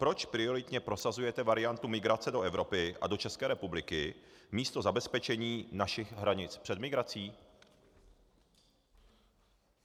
Proč prioritně prosazujete variantu migrace do Evropy a do České republiky místo zabezpečení našich hranic před migrací?